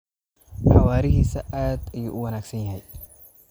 Xawaarihiisa aad ayuu u wanaagsan yahay.